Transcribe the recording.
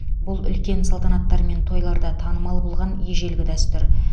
бұл үлкен салтанаттар мен тойларда танымал болған ежелгі дәстүр